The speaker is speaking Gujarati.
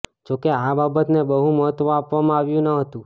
જો કે આ બાબતને બહુ મહત્વ આપવામાં આવ્યુ ન હતુ